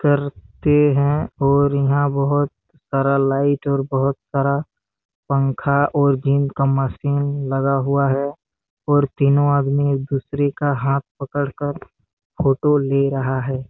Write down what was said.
करते है और यहाँ बहोत सारा लाइट और बहोत सारा पंखा और का मशीन लगा हुआ है और तीनो आदमी एक दुसरे का हाथ पकड़ कर फोटो ले रहा है।